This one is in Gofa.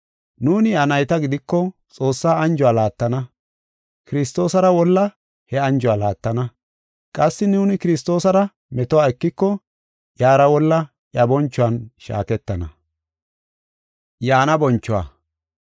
Nuuni iya nayta gidiko Xoossaa anjuwa laattana; Kiristoosara wolla he anjuwa laattana. Qassi nuuni Kiristoosara metuwa ekiko iyara wolla iya bonchuwan shaaketana.